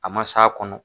A ma s'a kɔnɔ